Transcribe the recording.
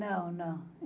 Não, não.